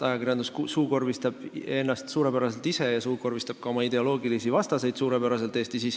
Ajakirjandus suukorvistab ennast suurepäraselt ise, sh suukorvistab suurepäraselt ka oma ideoloogilisi vastaseid Eestis.